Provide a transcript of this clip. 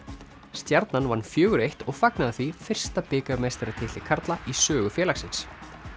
stjarnan vann fjóra eins og fagnaði því fyrsta bikarmeistaratitli karla í sögu félagsins